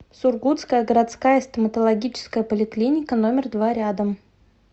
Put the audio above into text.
сургутская городская стоматологическая поликлиника номер два рядом